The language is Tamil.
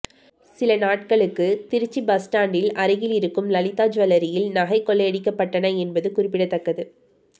சில நாட்களுக்கு திருச்சி பஸ் ஸ்டாண்டில் அருகில் இருக்கும் லலிதா ஜுவல்லரியில் நகை கொல்லையடிக்கப்பட்டன என்பதும் குறிப்பிடத்தக்கது